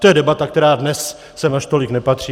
To je debata, která dnes sem až tolik nepatří.